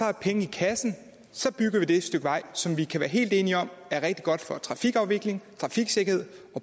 er penge i kassen så bygger vi det stykke vej som vi kan være helt enige om er rigtig godt for trafikafvikling trafiksikkerhed